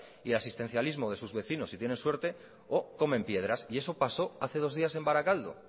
y del asistencialismo de sus vecinos si tienen suerte o comen piedras y eso pasó hace dos días en barakaldo